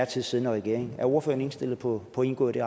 tid siddende regering er ordføreren indstillet på at indgå i det